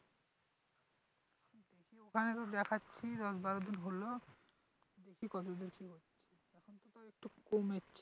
ওখানে তো দেখাচ্ছি দশ-বারো দিন হলো দেখি কতদুর কি হচ্ছে এখন তো তাও একটু কমেছে,